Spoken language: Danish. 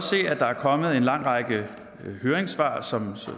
se at der er kommet en lang række høringssvar som